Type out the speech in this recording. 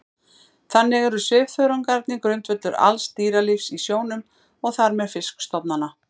Þannig eru svifþörungarnir grundvöllur alls dýralífs í sjónum og þar með fiskistofnanna.